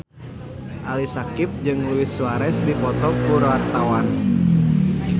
Ali Syakieb jeung Luis Suarez keur dipoto ku wartawan